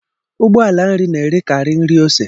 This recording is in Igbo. Ụgbọala nri na-erekari nri ose